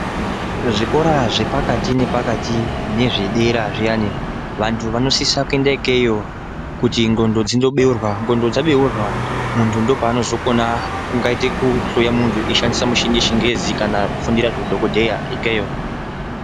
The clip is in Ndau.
Zvikora zvepakati nepakati nezvedera zviyani vantu vanosisa kuenda ikeyo kuti ndxondo dzindobeurwa. Ndxondo dzabeurwa muntu ndopanozokona kungaite kuhloya muntu eishandisa mishini yechingezi kana kufundira zveudhokodheya ikeyo.